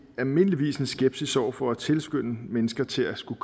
almindeligvis en skepsis over for at tilskynde mennesker til at skulle